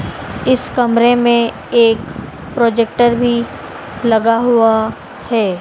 इस कमरे में एक प्रोजेक्टर भी लगा हुआ है।